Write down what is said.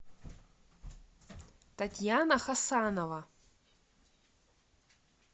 татьяна хасанова